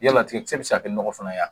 Yama tigɛ kisɛ bɛ se ka kɛ ɲɔgɔ fana wa?